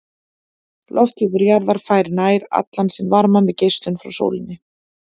Lofthjúpur jarðar fær nær allan sinn varma með geislun frá sólinni.